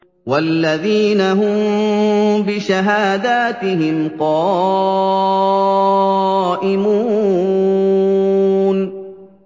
وَالَّذِينَ هُم بِشَهَادَاتِهِمْ قَائِمُونَ